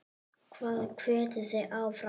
Hvað hvetur þig áfram?